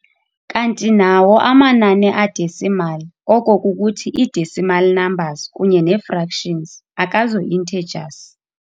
Kanti nawo amanani a-decimal, oko kukuthi ii-decimal numbers kunye neefractions akazo-intergers.